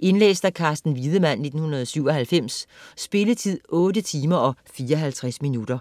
Indlæst af Carsten Wiedemann, 1997. Spilletid: 8 timer, 54 minutter.